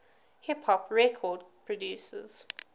hip hop record producers